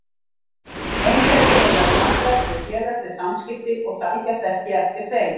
Einhverfir eiga í vandræðum með félagsleg samskipti og sækjast ekki eftir þeim.